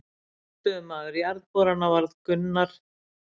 Forstöðumaður Jarðborana varð Gunnar